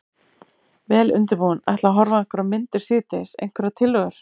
Vel undirbúinn. ætla að horfa á einhverjar myndir síðdegis, einhverjar tillögur?